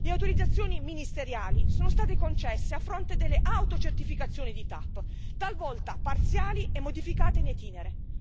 Le autorizzazioni ministeriali sono state concesse a fronte delle autocertificazioni di TAP, talvolta parziali e modificate in itinere.